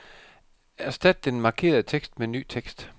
Erstat den markerede tekst med ny tekst.